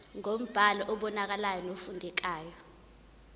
ngombhalo obonakalayo nofundekayo